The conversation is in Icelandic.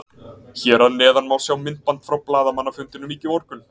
Hér að neðan má sjá myndband frá blaðamannafundinum í morgun.